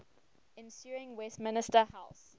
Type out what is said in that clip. ensuing westminster house